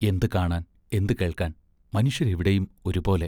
എന്തു കാണാൻ എന്തു കേൾക്കാൻ മനുഷ്യർ എവിടെയും ഒരുപോലെ.